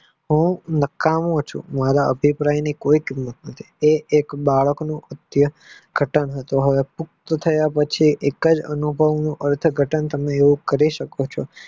હું નકામો છું મારા અભીપ્રાય ની કોઈ કિંમત નોતી એક બાળકનું ઘાટાં હતું હવે પુક્ત થયા પછી એકજ અનુભવ અર્થઘટન તમે કરી શકો છો.